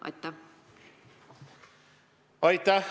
Aitäh!